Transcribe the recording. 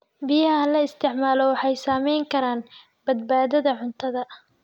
Biyaha la isticmaalo waxay saamayn karaan badbaadada cuntada.